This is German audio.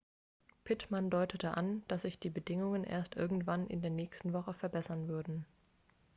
pittman deutete an dass sich die bedingungen erst irgendwann in der nächsten woche verbessern würden